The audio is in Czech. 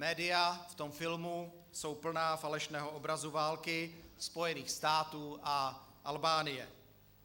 Média v tom filmu jsou plná falešného obrazu války Spojených států a Albánie.